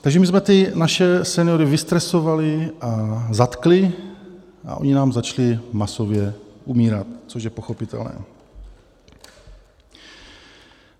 Takže my jsme ty naše seniory vystresovali a zatkli a oni nám začali masově umírat, což je pochopitelné.